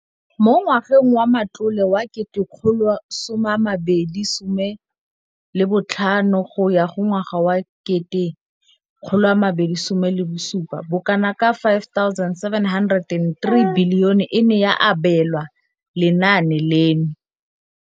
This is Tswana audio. Mo ngwageng wa matlole wa 2015,16, bokanaka R5 703 bilione e ne ya abelwa lenaane leno.